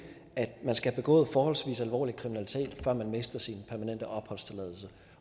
at man skal have begået forholdsvis alvorlig kriminalitet før man mister sin permanente opholdstilladelse